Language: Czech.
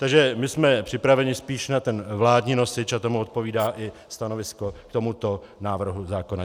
Takže my jsme připraveni spíš na ten vládní nosič a tomu odpovídá i stanovisko k tomuto návrhu zákona.